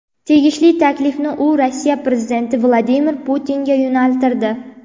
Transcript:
Tegishli taklifni u Rossiya prezidenti Vladimir Putinga yo‘naltirdi.